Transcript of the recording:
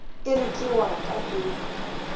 ere ke wa ka e